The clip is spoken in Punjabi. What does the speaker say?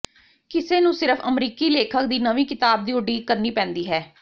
ਕਿਸੇ ਨੂੰ ਸਿਰਫ਼ ਅਮਰੀਕੀ ਲੇਖਕ ਦੀ ਨਵੀਂ ਕਿਤਾਬ ਦੀ ਉਡੀਕ ਕਰਨੀ ਪੈਂਦੀ ਹੈ